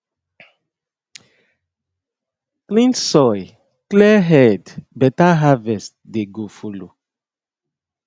clean soil clear head better harvest dey go follow